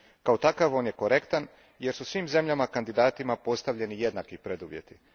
Kao takav on je korektan, jer su svim zemljama kandidatima postavljeni jednaki preduvjeti.